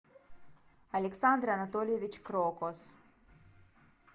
александр анатольевич крокос